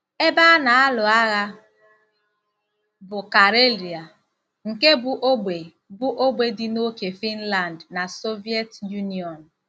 Ebe a na-alụ agha bụ Karelia ,nke bụ́ ógbè bụ́ ógbè dị n'ókè Finland na Soviet Union.